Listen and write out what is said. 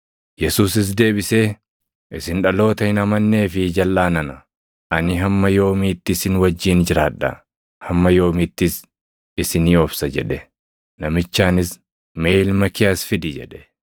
Yesuusis deebisee, “Isin dhaloota hin amannee fi jalʼaa nana; ani hamma yoomiitti isin wajjin jiraadha? Hamma yoomiittis isinii obsa?” jedhe. Namichaanis, “Mee ilma kee as fidi” jedhe.